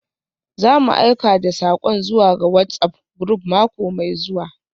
Za mu aika da sakon zuwa ga WhatsApp group mako mai zuwa.